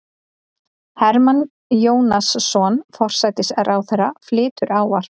Hermann Jónasson, forsætisráðherra, flytur ávarp.